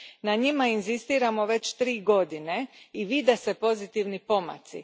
Na njima inzistiramo već tri godine i vide se pozitivni pomaci.